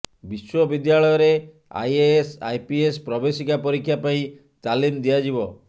ବିଶ୍ବବିଦ୍ୟାଳୟରେ IAS IPS ପ୍ରବେଶିକା ପରୀକ୍ଷା ପାଇଁ ତାଲିମ ଦିଆଯିବ